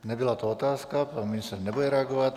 Nebyla to otázka, pan ministr nebude reagovat.